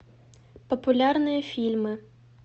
популярные фильмы